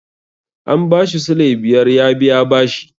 An ba shi sulai biyar ya biya bashi.